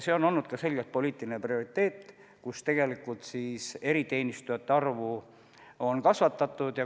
See on olnud ka selgelt poliitiline prioriteet, et eriteenistujate arvu on kasvatatud.